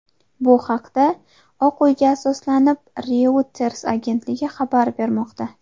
Bu haqda, Oq uyga asoslanib, Reuters agentligi xabar bermoqda .